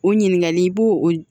O ɲininkali i b'o o